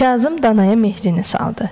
Kazım danaya mehrini saldı.